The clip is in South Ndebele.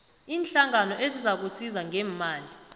iinhlangano ezizakusiza ngeemali